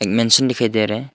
Mention दिखाई दे रहा है।